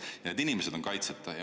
Need inimesed on kaitseta.